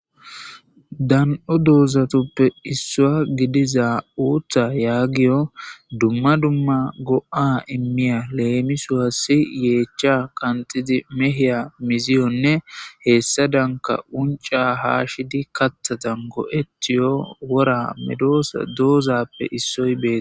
Dan'o dozatupe isuwa gidiza uta yagiyo duma duma go'a imiya lemisos yechay qanxidi mehiya miziyone hesadanka unc'c'a hashidi kathadan go'etutiyo wora medosa dozatupe isoy betes.